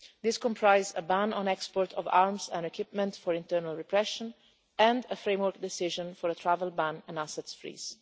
These comprised a ban on the export of arms and equipment for internal repression, and a framework decision for a travel ban and assets freeze.